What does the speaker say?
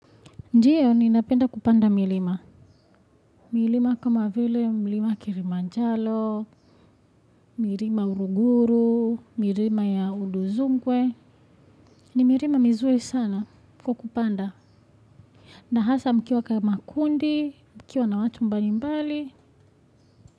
Ndiyo ninapenda kupanda milima. Milima kama vile milima Kilimanjaro milima Uruguru milima ya Uduzunkwe. Ni milima mizuri sana kwa kupanda. Na hasa mkiwa kama kundi mkiwa na watu mbalimbali.